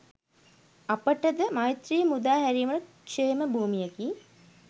අපට ද මෛත්‍රීය මුදා හැරීමට ක්‍ෂේම භූමියකි.